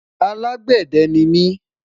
alágbède nimi